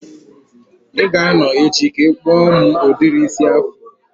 I ga a nọ echi ka ị kpụọ m udiri isi afro?